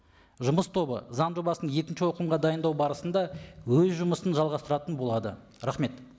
жұмыс тобы заң жобасын екінші оқылымға дайындау барысында өз жұмысын жалғастыратын болады рахмет